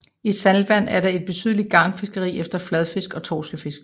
I saltvand er der et betydeligt garnfiskeri efter fladfisk og torskefisk